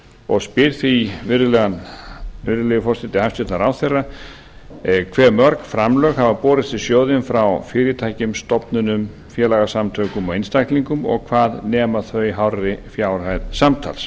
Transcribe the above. og spyr því virðulegi forseti hæstvirtur ráðherra hve mörg framlög hafa borist í sjóðinn frá fyrirtækjum stofnunum félagssamtökum og einstaklingum og hvað nema þau hárri fjárhæð samtals